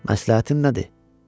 Məsləhətin nədir?